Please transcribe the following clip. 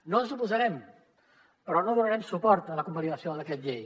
no ens hi oposarem però no donarem suport a la convalidació del decret llei